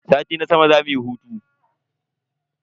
Sati na sama zamu yi hutu.